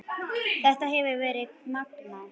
Þetta hefur verið magnað.